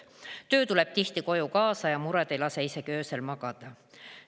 Töö tuleb tihti koju kaasa ja mured ei lase isegi öösel magada.